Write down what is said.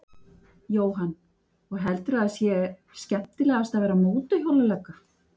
Jóhann: Og heldurðu að það sé skemmtilegast að vera mótorhjólalögga?